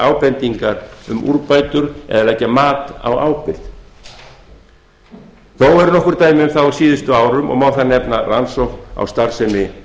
ábendingar um úrbætur eða leggja mat á ábyrgð þó eru nokkur dæmi um það á síðustu árum og má þar nefna rannsókn á starfsemi